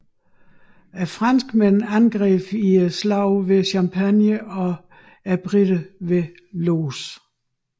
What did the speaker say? Franskmændene angreb i Slaget ved Champagne og briterne ved Loos